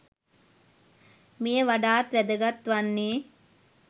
මෙය වඩාත් වැදගත් වන්නේ